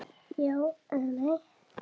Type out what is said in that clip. Já eða nei?